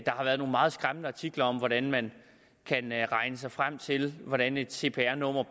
har været nogle meget skræmmende artikler om hvordan man kan regne sig frem til hvordan et cpr nummer